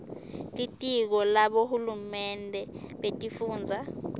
litiko labohulumende betifundza